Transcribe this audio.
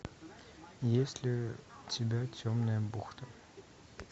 есть ли у тебя темная бухта